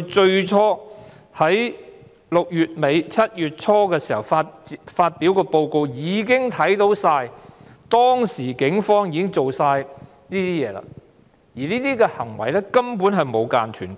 在6月尾、7月初發表的報告已經看到警方當時的行為，而這些行為至今沒有間斷，